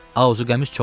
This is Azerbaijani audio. Azuqəmiz çoxdu.